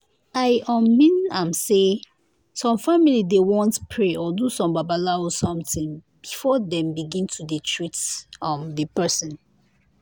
i um mean am say some family dey want pray or do some babalawo somtin before dem begin to dey treat um di pesin.